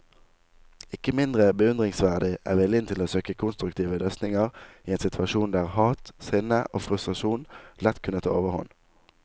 Ikke mindre beundringsverdig er viljen til å søke konstruktive løsninger i en situasjon der hat, sinne og frustrasjon lett kunne ta overhånd.